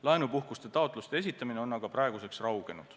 Laenupuhkuste taotluste esitamine on aga raugenud.